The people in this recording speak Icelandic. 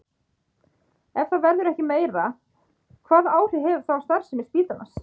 Ef það verður ekki meira, hvaða áhrif hefur það á starfsemi spítalans?